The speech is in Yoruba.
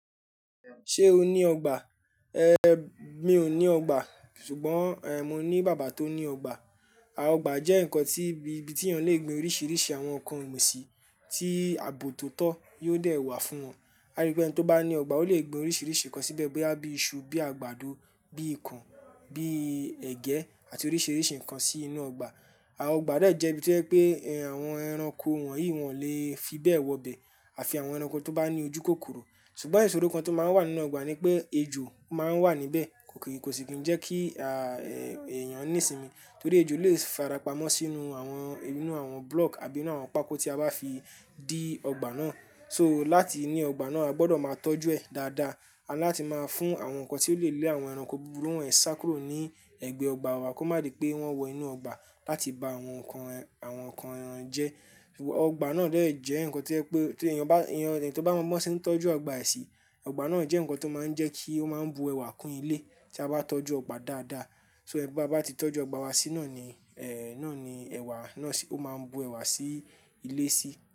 Ṣé o ní ọgbà? Ehn, mi ò ní ọgbà, ṣùgbọ́n ehn, mo ní bàbá tó ní ọgbà. Àà ọgbà jẹ́ nǹkan tí ibi tí èèyàn lè gbin oríṣiríṣi àwọn ǹkan ogbin sí tí ààbò tó tọ́ yóò dẹ̀ wà fún wọn. Á rí pé ẹni tó bá ní ọgbà, ó lè gbin oríṣiríṣi ǹkan síbẹ̀ bóyá bí i iṣu, bí i àgbàdo, bí i ikàn, bí i ẹ̀gẹ́ àti oríṣiríṣi ǹkan sí inú ọgbà. Àà ọgbà dà jẹ́ ibi tí o je pé ehn àwọn ẹranko wọ̀nyí wọn lè fi bẹ̀ wọ bẹ̀ àfi àwọn ẹranko tó bá ní ojú kòkòrò. Ṣùgbọ́n ìṣòro kan tó máa ń wà nínú ọgbà ni pé ejò máa ń wà níbẹ̀, kò kì í kò sì ni jẹ́ kí a a a èèyàn ní sinmi torí ejò lè farapamọ́ sínú àwọn inú àwọn block àbí nu àwọn pákó tí a bá fi dí ọgbà náà. So láti ní ọgbà náà, a gbọdọ̀ máa tọ́jú ẹ̀ dáadáa àni láti máa fún àwọn ǹkan tí ó lè lé àwọn ẹranko búburú wọ́n sá kúrò ní ẹ̀gbẹ́ ọgbà wa kó má di pé wọ́n wọ inú ọgbà láti ba àwọn ǹkan rẹ àwọn ǹkan rẹ̀ jẹ́. Ọgbà náà de jẹ́ ǹkan tí ojẹ pé tí èèyàn bá èèyàn ẹni tó bá mọ bí wọ́n ṣe ń tọ́jú ọgbà èsì, ọgbà náà jẹ́ ǹkan tó máa ń jẹ́ kí ó máa bu ẹwà kún ilé tí a bá tọ́jú ọgbà dáadáa. So e babá ti tọ́jú ọgbà wa sí náà ni eh náà ni ẹwà náà sí ó máa bu ẹwà sí ilé sí.